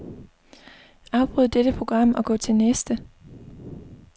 Afbryd dette program og gå til næste.